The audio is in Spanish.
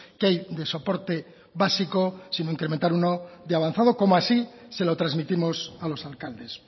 que hay de soporte básico sino incrementar uno de avanzado como así se lo transmitimos a los alcaldes